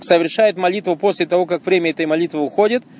совершает молитву после того как время этой молитвы уходит